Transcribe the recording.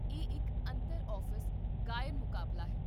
ਇਹ ਇੱਕ ਅੰਤਰ ਆਫ਼ਿਸ ਗਾਇਨ ਮੁਕਾਬਲਾ ਹੈ